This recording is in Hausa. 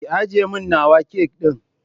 Ki ajjiye min nawa kek ɗin